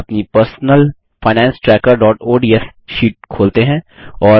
अपनी personal finance tracker ODS sheet खोलते हैं